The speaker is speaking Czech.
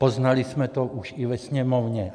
Poznali jsme to už i ve Sněmovně.